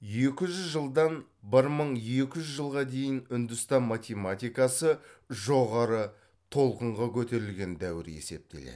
екі жүз жылдан бір мың екі жүз жылға дейін үндістан математикасы жоғары толқынға көтерілген дәуір есептеледі